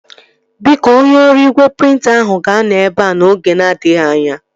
Biko, onye ọrụ igwe prịnta ahụ ga-anọ ebea n'oge na-adịghị anya